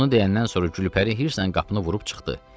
Bunu deyəndən sonra Gülpəri hirslə qapını vurub çıxdı.